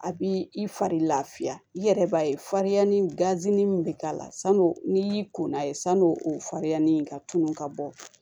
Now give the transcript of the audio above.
A bi i fari lafiya i yɛrɛ b'a ye fari ni gazi min be k'a la sanu n'i y'i kɔnna ye san'o o farinyani ka tunun ka bɔ